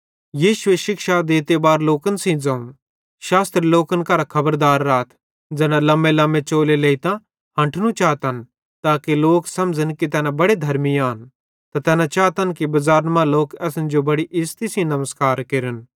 यीशुए शिक्षा देते बार लोकन सेइं ज़ोवं शास्त्री लोकन करां खबरदार राथ ज़ैना लम्मेलम्मे चोले लेइतां हन्ठनू चातन ताके लोक समझ़न कि तैना बड़े धर्मी आन त तैना चातन कि बज़ारन मां लोक असन बड़ी इज़्ज़ती सेइं नमस्कार केरन